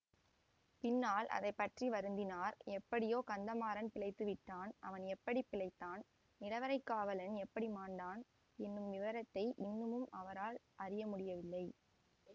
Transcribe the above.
பின்னால் அதை பற்றி வருந்தினார் எப்படியோ கந்தமாறன் பிழைத்துவிட்டான் அவன் எப்படி பிழைத்தான் நிலவறைக் காவலன் எப்படி மாண்டான் என்னும் விவரத்தை இன்னமும் அவரால் அறிய முடியவில்லை